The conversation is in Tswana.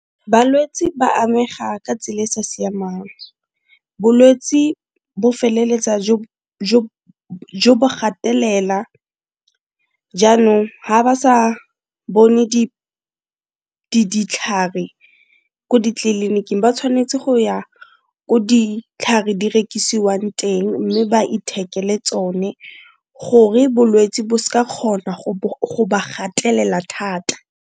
Balwetse ba amega ka tsela e sa siamang, bolwetse bo feleletsa jo bo gatelela jaanong ga ba sa bone ditlhare ko ditleliniking ba tshwanetse go ya ko ditlhare di rekisiwang teng mme ba ithekele tsone gore bolwetsi bo s'ka kgona go ba gatelela thata.